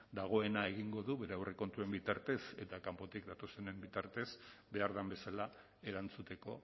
dagoena egingo du bere aurrekontuen bitartez eta kanpotik datozenen bitartez behar den bezala erantzuteko